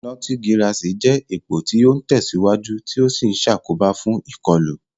Notigirasi jẹ́ èpò tí ó ń tẹ̀síwájú tí ó sì ń ṣàkóbá fún ìkọlù.